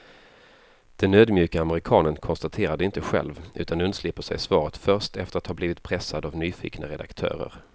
Den ödmjuke amerikanen konstaterar det inte själv, utan undslipper sig svaret först efter att ha blivit pressad av nyfikna redaktörer.